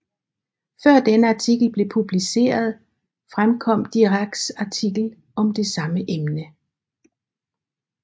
Før denne artikel blev publiceret fremkom Diracs artikel om det samme emne